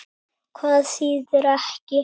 Hvað þýðir ekki?